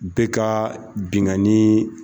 Bɛ ka binkani